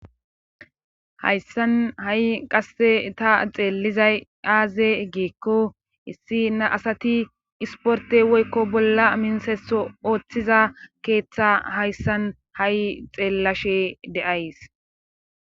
Hayssan ha7i qasse ta xeelizay aaze geekko issi na asati isporte woykko bolla minseso ooththiza keeththa hayssan ha7i xeellashe de7ays